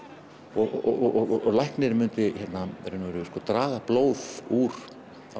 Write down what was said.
og læknirinn mynd í raun og veru draga blóð úr